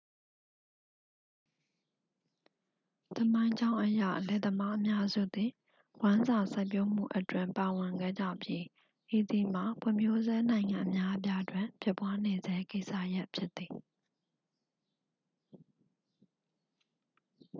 သမိုင်းကြောင်းအရ လယ်သမားအများစုသည် ဝမ်းစာစိုက်ပျိုးမှုအတွင်း ပါဝင်ခဲ့ကြပြီး ဤသည်မှာ ဖွံ့ဖြိုးဆဲနိုင်ငံအများအပြားတွင် ဖြစ်ပွားနေဆဲကိစ္စရပ်ဖြစ်သည်